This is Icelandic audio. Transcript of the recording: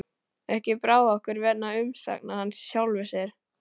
Ekki brá okkur vegna umsagna hans í sjálfu sér.